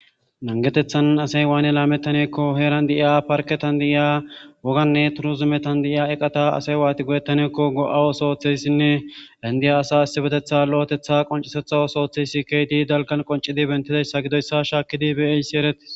Nangetethan asay waane laametaneekko heeran di'iya parketan di'iya woganne turuzumetan di'iya eqata asay waati goyettaneekko go'awosooththeyssinne lendiya asa assibetetha lo'etetha qoncisetha osooththeysi keedi dalkan qoncidi bentidayssa gidoyssa shaakkidi beeysi eretis.